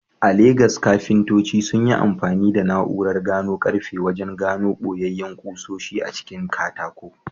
A Legas, kafintoci sun yi amfani da na’urar gano karfe wajen gano boyayyen kusoshi a cikin katako.